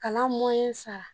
Kalan sara